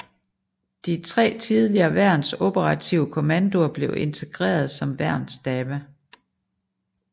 De tre tidligere værns operative kommandoer blev integreret som værnsstabe